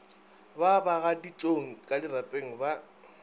ba bagaditšong ka dirapeng ba